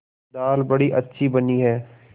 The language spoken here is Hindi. दाल बड़ी अच्छी बनी है